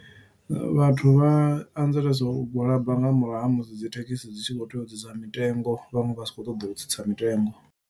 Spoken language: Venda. Vhathu vha anzelesa u gwalaba nga murahu ha musi dzithekhisi dzi tshi khou tea u tsitsa mitengo, vhaṅwe vha sa khou ṱoḓa u tsitsa mitengo.